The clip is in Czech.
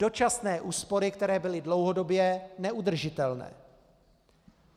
Dočasné úspory, které byly dlouhodobě neudržitelné.